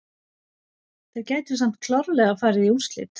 Þeir gætu samt klárlega farið í úrslit.